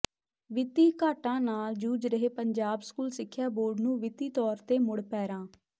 ਵਿੱਤੀ ਘਾਟਾਂ ਨਾਲ ਜੂਝ ਰਹੇ ਪੰਜਾਬ ਸਕੂਲ ਸਿੱਖਿਆ ਬੋਰਡ ਨੂੰ ਵਿੱਤੀ ਤੋਰ ਤੇ ਮੁੜ ਪੈਰਾਂ